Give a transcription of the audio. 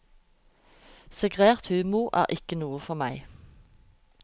Segregert humor er ikke noe for meg.